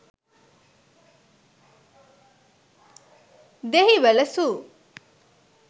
dehiwala zoo